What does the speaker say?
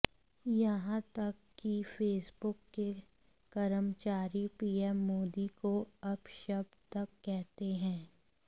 यहां तक कि फेसबुक के कर्मचारी पीएम मोदी को अपशब्द तक कहते हैं